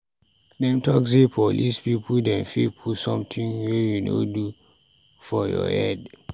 Dem talk sey police pipu dem fit put sometin wey you no do for your head.